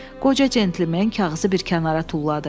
Qoca centlimen kağızı bir kənara tulladı.